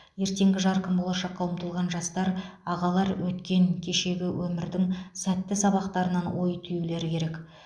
ертеңгі жарқын болашаққа ұмтылған жастар ағалар өткен кешегі өмірдің сәтті сабақтарынан ой түюлері керек